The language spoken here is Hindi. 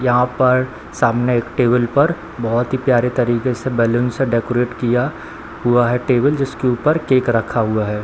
यहां पर सामने एक टेबल पर बहुत ही प्यारे तरीके से बैलून से डेकोरेट किया हुआ है टेबल जिसके ऊपर केक रखा हुआ है।